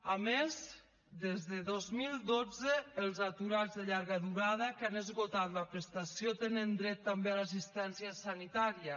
a més des del dos mil dotze els aturats de llarga durada que han esgotat la prestació tenen dret també a l’assistència sanitària